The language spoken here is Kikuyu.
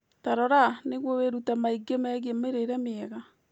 Tarora, nĩguo wĩrute maingĩ megiĩ mĩrĩre mĩega